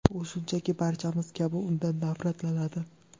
U, shunchaki, barchamiz kabi undan nafratlanadi”.